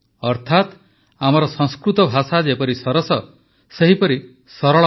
ଅର୍ଥାତ ଆମର ସଂସ୍କୃତ ଭାଷା ଯେପରି ସରସ ସେପରି ସରଳ ମଧ୍ୟ